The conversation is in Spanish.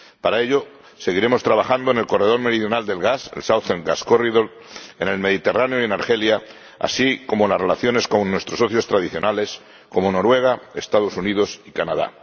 Para ello, seguiremos trabajando en el corredor meridional del gas, el Southern Gas Corridor en el Mediterráneo y en Argelia, así como las relaciones con nuestros socios tradicionales, como Noruega, Estados Unidos y Canadá.